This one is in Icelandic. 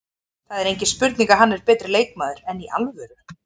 Það er engin spurning að hann er betri leikmaður, enn í alvöru?